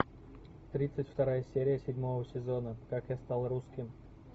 тридцать вторая серия седьмого сезона как я стал русским